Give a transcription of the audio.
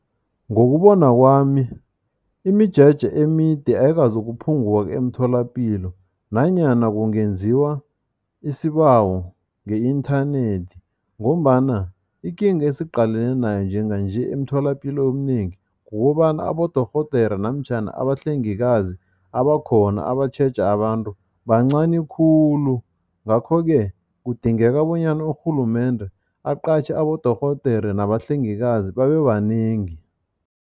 Ngokubona kwami, imijeje emide ayikazokuphunguka emtholapilo nanyana kungenziwa isibawo nge-inthanethi ngombana ikinga esiqalene nayo njenganje emtholapilo eminengi, kukobana abodorhodere namtjhana abahlengikazi abakhona abatjheja abantu bancani khulu, ngakho-ke kudingeka bonyana urhulumende aqatjhe abodorhodere nabahlengikazi babebanengi.